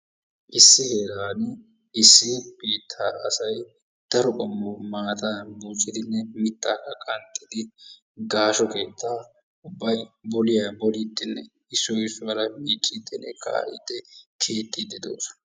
Issi heeran issi biittaa asay daro mataa qommo maataa buuccidinne miittaa qanxxidi gaashsho keettaa ubbay boliyaa bolidinne issoy issuwaara miiccidinne kaa"idi keexxiidi de'oosona.